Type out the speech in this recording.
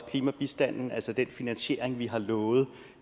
klimabistanden altså den finansiering vi har lovet